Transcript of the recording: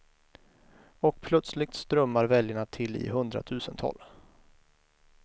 Och plötsligt strömmar väljarna till i hundratusental.